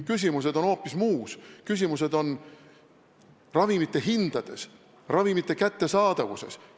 Küsimused on hoopis muus: küsimused on ravimite hindades, ravimite kättesaadavuses.